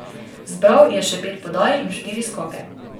Zbral je še pet podaj in štiri skoke.